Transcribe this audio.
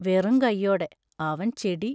വെറുങ്കയോടെ അവൻ ചെടി.